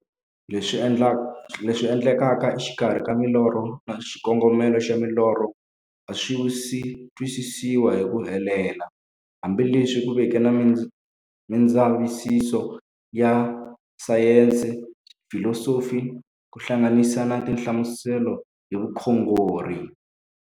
Leswi endlekaka e xikarhi ka milorho na xikongomelo xa milorho a swisi twisisiwa hi ku helela, hambi leswi ku veke na mindzavisiso ya sayensi, filosofi ku hlanganisa na tinhlamuselo hi vukhongori.